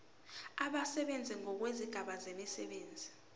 abasebenzi ngokwezigaba zomsebenzi